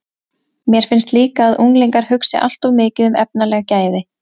Mér finnst líka að unglingar hugsi allt of mikið um efnaleg gæði.